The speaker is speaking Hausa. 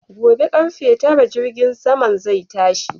Gobe karfe Tara jirgin saman zai tashi